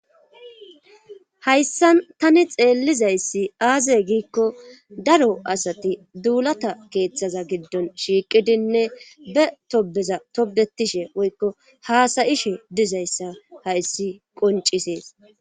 hayssan tani xeellizayssi aaze giikko daro asati duulata keeththaza giddon shiiqidinne be tobeza tobetishe woykko haasayishe dizayssa hayssi qoncisees